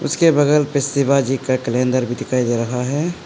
उसके बगल में शिवाजी का कैलेंडर भी दिखाई दे रहा है।